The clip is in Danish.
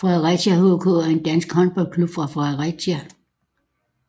Fredericia HK er en dansk håndboldklub fra Fredericia